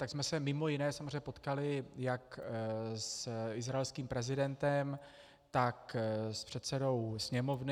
Tak jsme se mimo jiné samozřejmě potkali jak s izraelským prezidentem, tak s předsedou sněmovny.